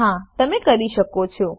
હા તમે કરી શકો છો